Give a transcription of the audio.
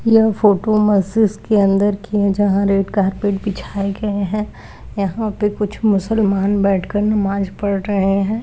यह फोटो मस्जिद की अन्दर की है जहाँ रेड कारपेट बिछाए गए हैं यहाँ पे कुछ मुसलमान बेठ कर नमाज पढ़ रहें हैं।